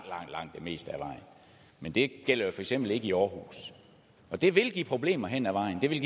det meste af vejen men det gælder jo for eksempel ikke i aarhus og det vil give problemer hen ad vejen det vil